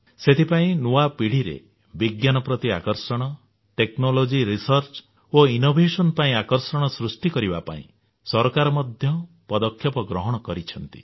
ସେଥିପାଇଁ ନୂଆ ପିଢ଼ିରେ ବିଜ୍ଞାନ ପ୍ରତି ଆକର୍ଷଣ ପ୍ରଯୁକ୍ତି କୌଶଳ ଗବେଷଣା ଓ ଉଦ୍ଭାବନ କ୍ଷେତ୍ରରେ ଆକର୍ଷଣ ସୃଷ୍ଟି କରିବା ପାଇଁ ସରକାର ମଧ୍ୟ ପଦକ୍ଷେପ ଗ୍ରହଣ କରିଛନ୍ତି